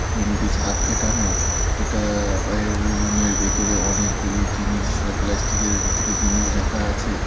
Room -টি সাদ পেটানো এটা অ্যা এ রুমের ভেতরে অনেকগুলি জিনিস প্লাস্টিক -এর ভেতরে জিনিস রাখা আছে।